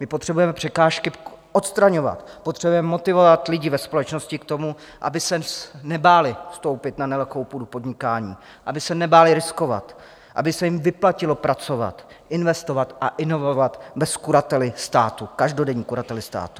My potřebujeme překážky odstraňovat, potřebujeme motivovat lidi ve společnosti k tomu, aby se nebáli vstoupit na nelehkou půdu podnikání, aby se nebáli riskovat, aby se jim vyplatilo pracovat, investovat a inovovat bez kurately státu, každodenní kurately státu.